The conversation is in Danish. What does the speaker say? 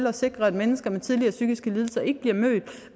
at sikre at mennesker med tidligere psykiske lidelser ikke bliver mødt med